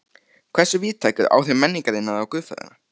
Hversu víðtæk eru áhrif menningarinnar á guðfræðina?